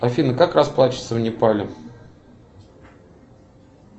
афина как расплачиваться в непале